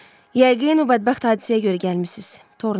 Yəqin o bədbəxt hadisəyə görə gəlmisiniz, Torntun.